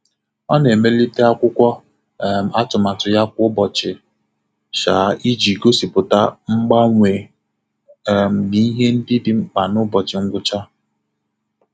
Ọ na-emelite akwụkwọ um atụmatụ ya kwa ụbọchị um iji gosipụta mgbanwe um na ihe ndị dị mkpa na ụbochị ngwụcha.